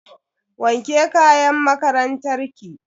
Wanke kayan makarantar ki.